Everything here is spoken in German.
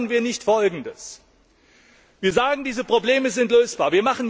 Warum machen wir nicht Folgendes Wir sagen, diese Probleme sind lösbar.